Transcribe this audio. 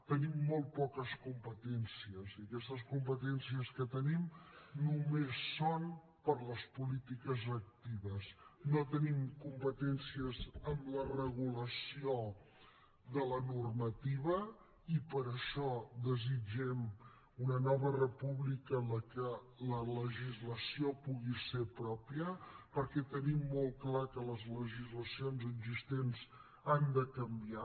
tenim molt poques competències i aquestes competències que tenim només són per a les polítiques actives no tenim competències en la regulació de la normativa i per això desitgem una nova república en la que la legislació pugui ser pròpia perquè tenim molt clar que les legislacions existents han de canviar